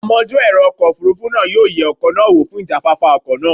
Amojú ẹ̀rọ ọkọ̀ Òfurufú náà yóò yẹ ọkọ̀ náà wò fún ìjáfáfá ọkọ̀ náà.